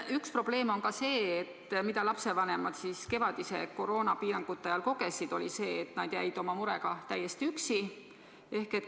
Üks probleem on see, mida lapsevanemad kevadiste koroonapiirangute ajal kogesid – see, et nad jäid oma murega täiesti üksi.